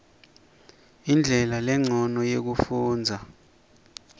indlela lencono yekufundza